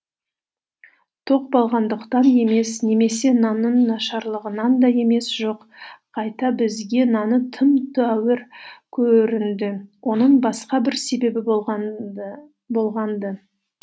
тоқ болғандықтан емес немесе нанның нашарлығынан да емес жоқ қайта бізге наны тым тәуір көрінді оның басқа бір себебі болған ды болған ды